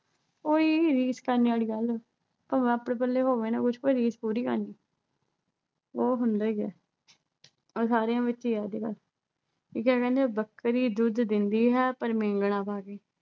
ਉਹੀ ਰੀਸ ਕਰਨੇ ਵਾਲੀ ਗੱਲ ਭਾਵੇਂ ਆਪਣੇ ਪੱਲੇ ਹੋਵੇ ਨਾ ਕੁੱਝ ਪਰ ਰੀਸ ਪੂਰੀ ਕਰਨੀ ਉਹ ਹੁੰਦਾ ਹੀ ਆ ਸਾਰਿਆਂ ਵਿੱਚ ਹੀ ਐ ਆਵਦੇ ਘਰ। ਕਹਿੰਦੇ ਬੱਕਰੀ ਦੁੱਧ ਦਿੰਦੀ ਹੈ ਪਰ ਮੀਂਗਣਾ ਪਾ ਕੇ